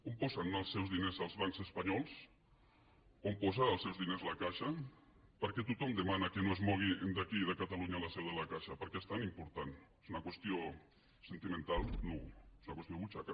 on posen els seus diners els bancs espanyols on posa els seus diners la caixa per què tothom demana que no es mogui d’aquí de catalunya la seu de la caixa per què és tan important una qüestió sentimental no és una qüestió de butxaca